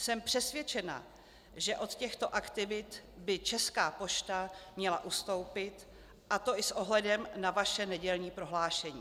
Jsem přesvědčena, že od těchto aktivit by Česká pošta měla ustoupit, a to i s ohledem na vaše nedělní prohlášení.